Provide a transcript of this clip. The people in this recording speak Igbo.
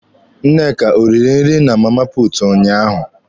Nneka o riri nri na Mama Putu unyaahụ.